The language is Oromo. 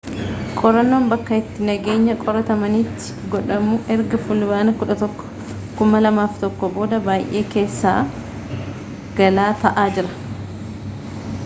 qorannoon bakka itti nageenya qoratamanitti godhamu ergafulbaana 11 2001 booda baay'ee keessa-galaa ta'aa jira